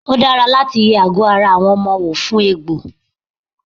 Ó dára láti yẹ àgọ́ ara àwọn ọmọ wò fún egbò.